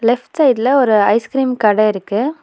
Left சைடுல ஒரு ice cream கட இருக்கு.